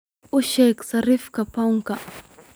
u sheeg sarifka pound-ka